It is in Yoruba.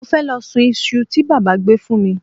Mo fẹ́ lọ sun iṣu tí bàbá gbé fún mi